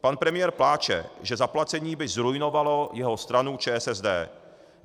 Pan premiér pláče, že zaplacení by zruinovalo jeho stranu, ČSSD.